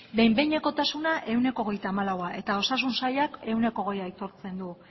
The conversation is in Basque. behin behinekotasuna ehuneko hogeita hamalaua eta osasun sailak ehuneko hogeia aitortzen du